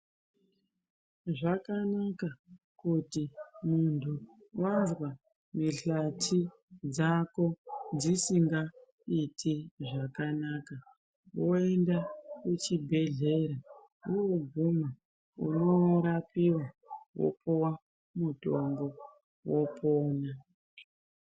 Zvakanaka kuti muntu wanzwa mihlati dzako dzisingaiti zvakanaka woenda kuchibhedhlera wooguma unorapiwa, wopuwa mutombo, wopona.